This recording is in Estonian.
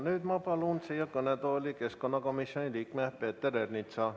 Nüüd ma palun kõnetooli keskkonnakomisjoni liikme Peeter Ernitsa.